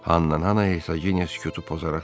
Hannan xana Ersaqinya sükutu pozaraq dedi.